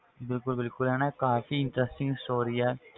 ਬਿਲਕੁਲ ਬਿਲਕੁਲ ਇਹ ਨਾ ਕਾਫ਼ੀ interesting story ਆ